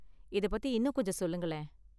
இதைப் பத்தி இன்னும் கொஞ்சம் சொல்லுங்களேன்.